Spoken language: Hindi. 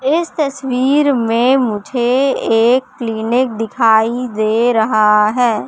इस तस्वीर में मुझे एक क्लीनिक दिखाई दे रहा है।